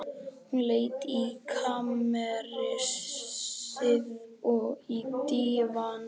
Hún leit inn í kamersið, og á dívaninn.